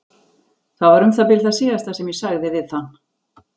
Það var um það bil það síðasta sem ég sagði við hann.